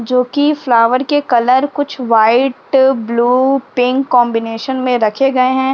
जोकि फ्लावर के कलर कुछ वाइट ब्लू पिंक कॉम्बिनेशन में रखे गए हैं।